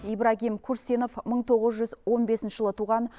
ибрагим курсинов мың тоғыз жүз он бесінші жылы туған